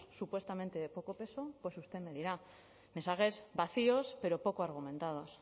supuestamente de poco peso usted me dirá mensajes vacíos pero poco argumentados